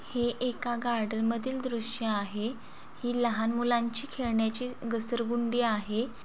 हे एका गार्डन मधील दृश आहे ही लहान मुलांची खेळण्याची घसर गुंडी आहे.